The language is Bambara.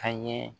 Ka ɲɛ